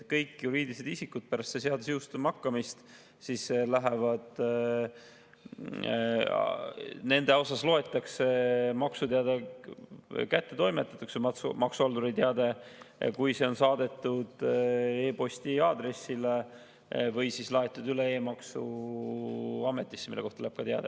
Kõigi juriidiliste isikute puhul loetakse pärast selle seaduse jõustumist maksuteade, maksuhalduri teade kättetoimetatuks, kui see on saadetud e-posti aadressile või laetud üles e-maksuametisse, mille kohta tuleb ka teade.